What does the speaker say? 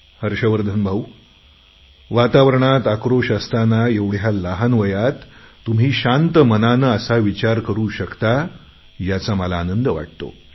हर्षवर्धन भाऊ वातावरणात उद्विग्नता असताना एवढ्या लहान वयात तुम्ही शांत मनाने असा विचार करू शकता याचा मला आनंद वाटतो